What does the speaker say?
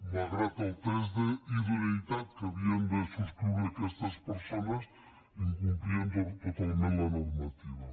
malgrat el test d’idoneïtat que havien de subscriure aquestes persones incomplien totalment la normativa